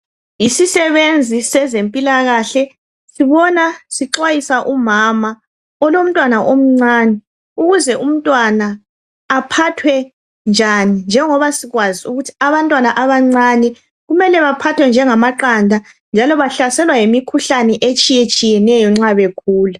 Yisisebenzi sezempilakahle. Sibona sixwayisa umama olomntwana omncane, ukuze umntwana aphathwe njani njengoba sikwazi ukuthi abantwana abancane kumele baphathwe njengamaqanda njalo bahlaselwa yimikhuhlane etshiyetshiyeneyo nxa bekhula.